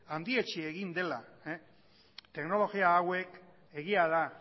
handietsi egin dela teknologia hauek egia da